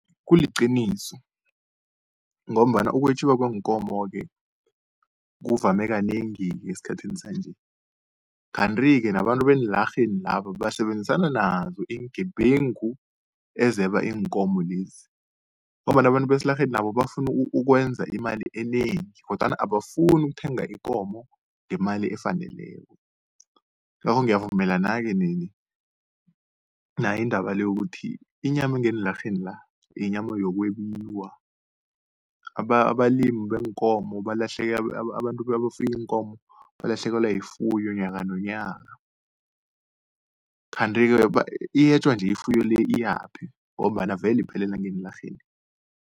Kuliqiniso ngombana ukwetjiwa kweenkomo-ke kuvame kanengi esikhathini sanje. Kanti-ke nabantu beenlarheni laba basebenzisana nazo iingebengu ezeba iinkomo lezi, ngombana abantu besilarheni nabo bafuna ukwenza imali enengi kodwana abafuni ukuthenga ikomo ngemali efaneleko. Ingakho ngiyavumelana-ke nayo indaba le yokuthi inyama engeenlarheni la inyama yokwebiwa, abalimi beenkomo abantu abafuya iinkomo balahlekelwa yifuyo nyaka nonyaka. Kanti-ke iyetjwa nje ifuyo le iyaphi, ngombana vele iphelela ngeenlarheni.